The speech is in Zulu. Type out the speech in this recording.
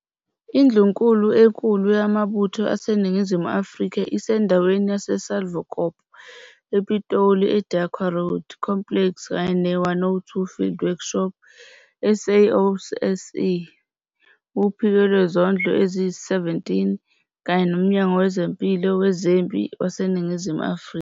Indlunkulu enkulu Yamabutho aseNingizimu Afrika isendaweni yaseSalvokop, ePitoli eDequar Road Complex kanye ne- 102 Field Workshop SAOSC, Uphiko Lwezondlo eziyi-17 kanye noMnyango Wezempilo Wezempi waseNingizimu Afrika.